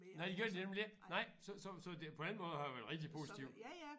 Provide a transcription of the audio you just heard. Nej det gør de nemlig ikke nej så så så det på den måde har det været rigtig positivt